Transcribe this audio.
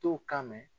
Tow kama